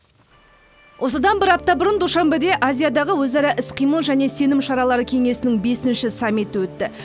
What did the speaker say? осыдан бір апта бұрын душанбеде азиядағы өзара іс қимыл және сенім шаралары кеңесінің бесінші саммиті өтті